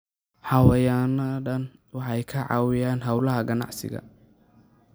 Xayawaanadani waxay ka caawiyaan hawlaha ganacsiga.